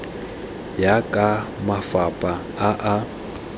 ya ka mafapha a a